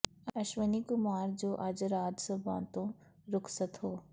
ਅਸ਼ਵਨੀ ਕੁਮਾਰ ਜੋ ਅੱਜ ਰਾਜ ਸਭਾ ਤੋਂ ਰੁਖਸਤ ਹੋ